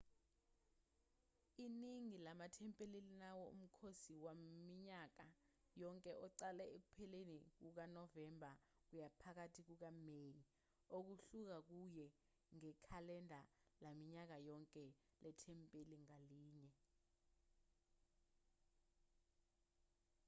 iningi lamathempeli linawo umkhosi waminyaka yonke oqala ekupheleni kukanovemba kuya phakathi kukameyi okuhluka kuya ngekhalenda laminyaka yonke lethempeli ngalinye